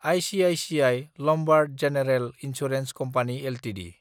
ICICI Lombard general insurance company Ltd